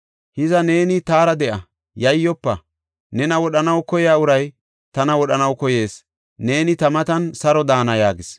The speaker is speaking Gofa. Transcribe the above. Hiza neeni taara de7a; yayyofa. Nena wodhanaw koyiya uray tana wodhanaw koyees; neeni ta matan saro daana” yaagis.